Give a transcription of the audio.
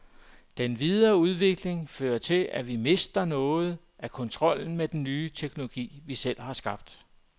Den videre udvikling fører til, at vi mister noget af kontrollen med den teknologi, vi selv har skabt.